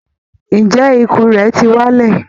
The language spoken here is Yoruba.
Ǹjẹ́ ikùn rẹ ti wálẹ̀?